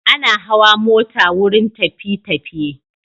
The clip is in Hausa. Ana hawa mota wurin tafi_tafiye